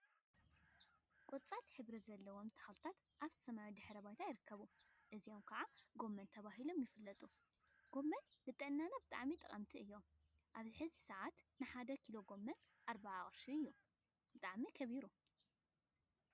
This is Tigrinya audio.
ቆጻል ሕብሪ ዘለዎም ተክሊታት ኣብ ሰማያዊ ድሕረ ባይታ ይርከቡ። እዚኦም ከዓ ጎመን ተባሂሎም ይፍለጡ። ጎመን ንጥዕናና ብጣዕሚ ጠቅምቲ እዮም። ኣብዚ ሕዚ ሰዓት ንሓደ ኪሎ ጎመን ኣርብዓ ቅርሺ እዩ። ብጣዕሚ ከቢሩ!